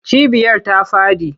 Cibiyar ta faɗi.